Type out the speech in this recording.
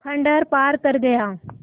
खंडहर पार कर गया